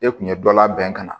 E kun ye dɔ labɛn ka na